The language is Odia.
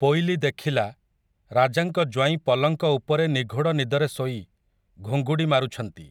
ପୋଇଲୀ ଦେଖିଲା, ରାଜାଙ୍କ ଜ୍ୱାଇଁ ପଲଙ୍କ ଉପରେ ନିଘୋଡ଼ ନିଦରେ ଶୋଇ, ଘୁଙ୍ଗୁଡ଼ି ମାରୁଛନ୍ତି ।